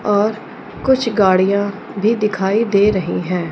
और कुछ गाड़ियां भी दिखाई दे रही हैं।